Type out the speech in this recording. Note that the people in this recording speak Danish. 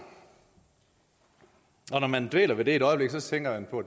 og når man dvæler ved det et øjeblik tænker man på